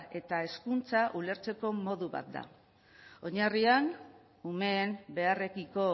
eta hezkuntza ulertzeko modu bat da oinarrian umeen beharrekiko